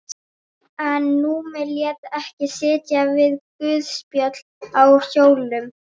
En Númi lét ekki sitja við guðspjöll á hjólum.